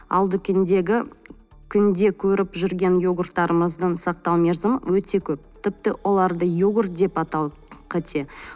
ал дүкендегі күнде көріп жүрген йогурттарымыздың сақтау мерзімі өте көп тіпті оларды йогурт деп атау қате